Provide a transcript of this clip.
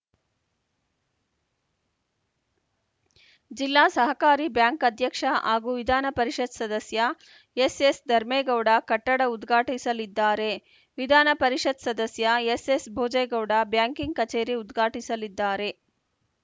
ಜಿಲ್ಲಾಸಹಕಾರಿ bank ಅಧ್ಯಕ್ಷ ಹಾಗೂ ವಿಧಾನ ಪರಿಷತ್‌ ಸದಸ್ಯ ಎಸ್‌ಎಸ್‌ಧರ್ಮೇಗೌಡ ಕಟ್ಟಡ ಉದ್ಘಾಟಿಸಲಿದ್ದಾರೆ ವಿಧಾನಪರಿಷತ್‌ ಸದಸ್ಯ ಎಸ್‌ಎಸ್‌ಬೋಜೆಗೌಡ ಬ್ಯಾಂಕಿಂಗ್‌ ಕಚೇರಿ ಉದ್ಘಾಟಿಸಲಿದ್ದಾರೆ